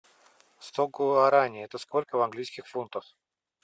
сто гуараней это сколько в английских фунтах